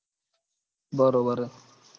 બરોબર હ